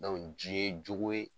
ji ye jogo ye